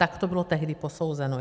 Tak to bylo tehdy posouzeno.